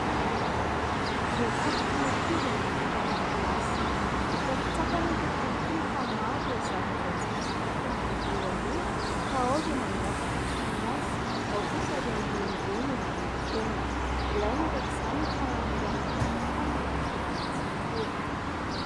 Zo fototry ny ankizy ny miditra an-dakilasy, hita sy tsapa anefa ankehitriny fa maro ireo zaza, izay tsy misitraka an'io zoany io ka ao ireo mangataka sy miasa, ao kosa ireo mirenireny eny rehetra eny, ilaina araka izany ny fanamoran'ny fanjakana ny fidirana an-tsekoly.